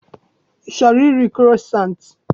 I chọrọ iri kroissant?